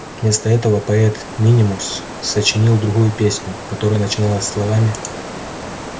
вместо этого поэт минимус сочинил другую песню которая начиналась словами